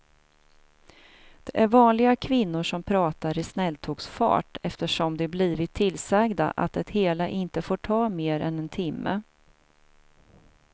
Det är vanliga kvinnor som pratar i snälltågsfart eftersom de blivit tillsagda att det hela inte får ta mer än en timme.